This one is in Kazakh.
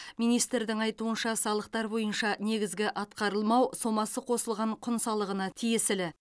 министрдің айтуынша салықтар бойынша негізгі атқарылмау сомасы қосылған құн салығына тиесілі